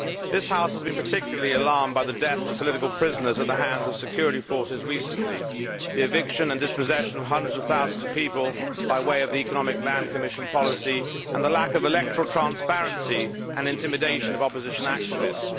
This House has been particularly alarmed by the deaths of political prisoners at the hands of security forces recently, the eviction and dispossession of hundreds of thousands of people by way of the economic land commission policy, the lack of electoral transparency and the intimidation of opposition activists.